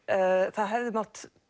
það hefði mátt